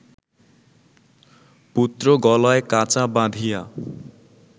পুত্র গলায় কাচা বাঁধিয়া